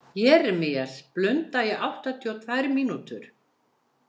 Jeremías, blunda í áttatíu og tvö mínútur.